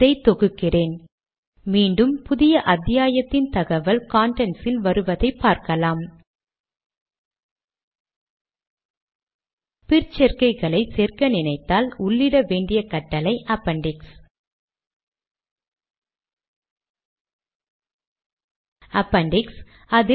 இதை திறந்து இதை அடுத்த வரிக்கு எடுத்துச்செல்வோம்